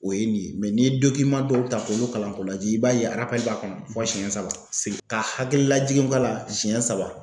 O ye nin ye n'i ye dɔw ta k'olu kalan k'u lajɛ i b'a ye b'a kɔnɔ fɔ siɲɛ saba sel ka hakili lajigin kɔ a la siyɛ saba.